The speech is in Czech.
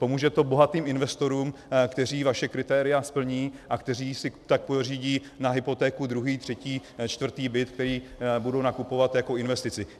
Pomůže to bohatým investorům, kteří vaše kritéria splní a kteří si tak pořídí na hypotéku druhý, třetí, čtvrtý byt, který budu nakupovat jako investici.